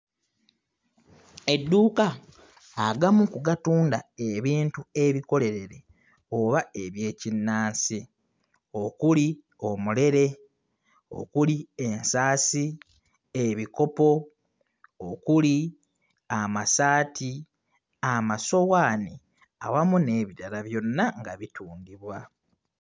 Edduuka agamu ku gatunda ebintu ebikolerere oba ebyekinnansi. Okuli omulere, okuli ensaasi, ebikopo, okuli amasaati, amasowaani awamu n'ebirala byonna nga bitundibwa.